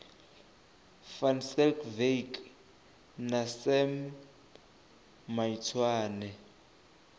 van schalkwyk na sam maitswane